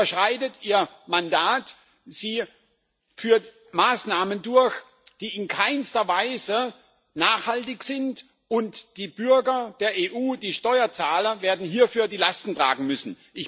Sie überschreitet ihr Mandat, sie führt Maßnahmen durch, die in keinster Weise nachhaltig sind, und die Bürger der EU, die Steuerzahler, werden hierfür die Lasten tragen müssen.